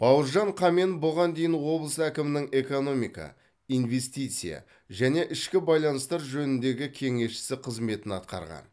бауыржан қамен бұған дейін облыс әкімінің экономика инвестиция және ішкі байланыстар жөніндегі кеңесшісі қызметін атқарған